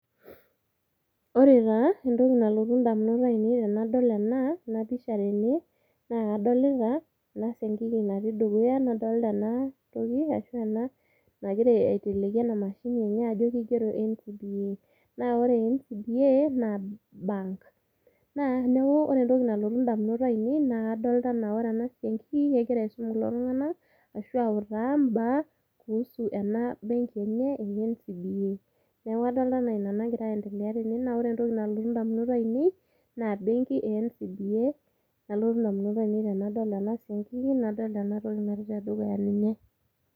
Ore taa entoki nalotu damunot ainei tenadol ena pisha tene, naa kadolita, eda siankiki natii dukuya nadolta ena, toki ashu ena nagira aiteleki ena mashini enye ajo kigero ncba, naa ore ncba naa bank. neeku ore entoki nalotu damunot ainei naa kadolta anaa ore ena siankiki kegira aisum kulo tunganak ashu autaa kuusu ena benki enye e ncba, neeku kadolta anaa Ina nagira aendelea tene, naa ore entoki nalotu damunot ainei naa benki e ncba, nalotu damunot ainei tenadol ena siankiki nadol ena toki natii te dukuya ninye.